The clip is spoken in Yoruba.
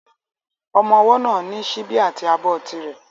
Ọmọ ọwọ́ náà ní síbi àti abọ́ ti rẹ̀